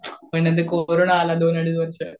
तो कोरोना आला दोन अडीच वर्ष.